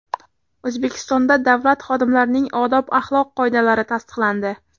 O‘zbekistonda davlat xodimlarining odob-axloq qoidalari tasdiqlandi .